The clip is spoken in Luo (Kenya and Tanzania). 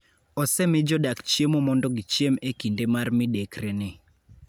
Osemi jodak chiemo mondo gichiem e kinde mar midekreni.